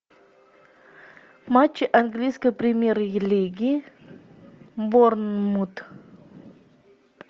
матч английской премьер лиги борнмут